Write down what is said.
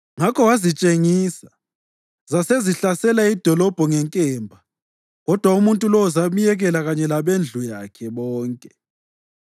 Ngakho wazitshengisa, zasezihlasela idolobho ngenkemba kodwa umuntu lowo zamyekela kanye labendlu yakhe bonke.